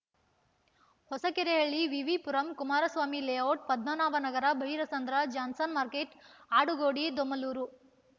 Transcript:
Hosakerehalli VV Puram Kumaraswamy layout Padmanabha Nagar Byrasandra Johnson market Adugodi Domlur